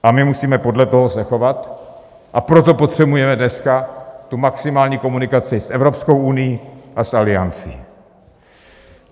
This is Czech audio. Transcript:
A my musíme podle toho se chovat, a proto potřebujeme dneska tu maximální komunikaci s Evropskou unií a s Aliancí.